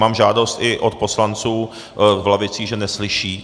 Mám žádost i od poslanců v lavicích, že neslyší.